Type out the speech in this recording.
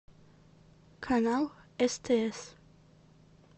канал стс